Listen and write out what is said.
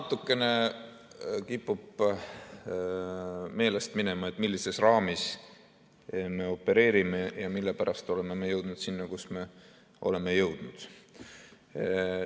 Natukene kipub meelest minema, millises raamis me opereerime ja mille pärast oleme me jõudnud sinna, kuhu me oleme jõudnud.